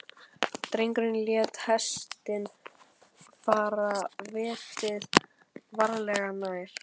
Drengurinn lét hestinn fara fetið, varlega, nær.